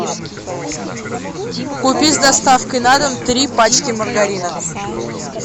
купи с доставкой на дом три пачки маргарина